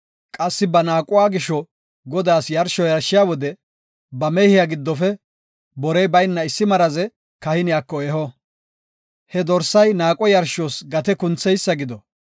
Qassi ba naaquwa gisho Godaas yarsho yarshiya wode ba mehiya giddofe borey bayna issi maraze kahiniyako eho. He dorsay naaqo yarshos gate kuntheysa gido.